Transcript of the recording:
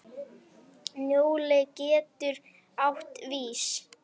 Njóla getur átt við